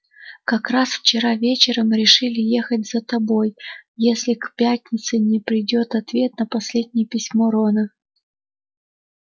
как раз вчера вечером решили ехать за тобой если к пятнице не придёт ответ на последнее письмо рона